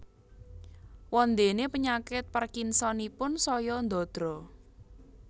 Wondéné penyakit Parkinsonipun saya ndadra